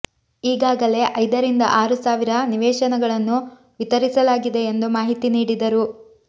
ಈಗಾಗಲೇ ಐದರಿಂದ ಆರು ಸಾವಿರ ನಿವೇಶನಗಳನ್ನು ವಿತರಿಸಲಾಗಿದೆ ಎಂದು ಮಾಹಿತಿ ನೀಡಿದರು